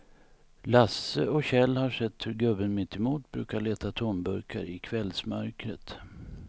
Lasse och Kjell har sett hur gubben mittemot brukar leta tomburkar i kvällsmörkret.